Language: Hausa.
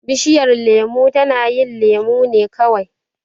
Bishiyar lemo tana yin lemo ne kawai.